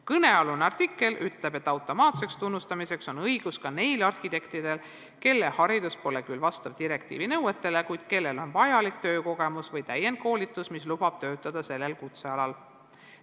Kõnealune artikkel ütleb, et automaatseks tunnustamiseks on õigus ka neil arhitektidel, kelle haridus pole küll vastav direktiivi nõuetele, kuid kellel on vajalik töökogemus või läbitud täiendkoolitus, mis lubab töötada sellel kutsealal.